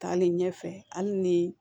Taalen ɲɛfɛ hali ni